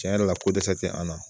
Cɛn yɛrɛ la ko dɛsɛ te an na